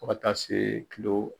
Fo ka taa se .